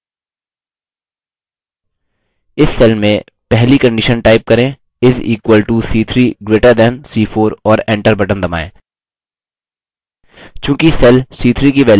इस cell में पहली condition type करें is equal to c3 greater than c4 और enter बटन दबाएँ